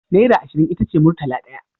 Naira ashirin itace murtala daya